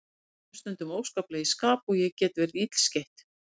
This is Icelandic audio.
Mér rennur stundum óskaplega í skap og ég get verið illskeytt.